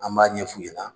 An b'a ɲɛ f'u ɲɛna